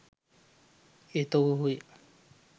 එහෙත් ඔහු ඔහුය